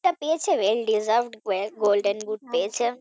পেয়েছে well deserved Golden Boot পেয়েছে